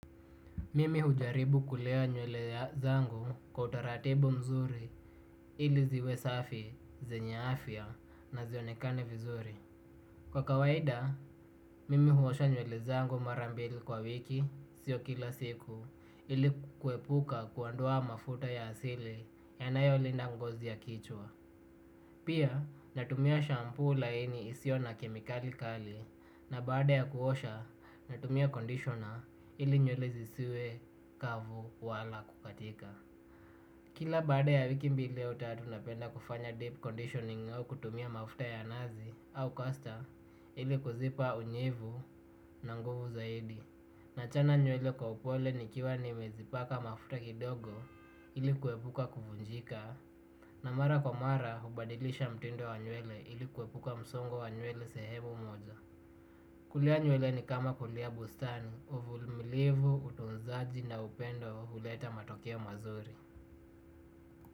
Mimi hujaribu kulea nywele zangu kwa utaratibu mzuri ili ziwe safi, zenye afya na zionekane vizuri. Kwa kawaida, mimi huosha nywele zangu mara mbili kwa wiki sio kila siku ili kuepuka kuondoa mafuta ya asili yanayolinda ngozi ya kichwa. Pia natumia shampoo laini isio na kemikali kali na baada ya kuosha natumia conditioner ili nywele siziwe kavu wala kukatika. Kila baadq ya wiki mbili au tatu napenda kufanya deep conditioning au kutumia mafuta ya nazi au kasta ili kuzipa unyevu na nguvu zaidi. Nachana nywele kwa upole nikiwa nimezipaka mafuta kidogo ili kuepuka kuvunjika. Na mara kwa mara hubadilisha mtindo wa nywelle ili kuepuka msongo wa nywele sehemu moja. Kulea nywele ni kama kulea bustani, uvulmilivu, utunzaji na upendo huleta matokeo mazuri.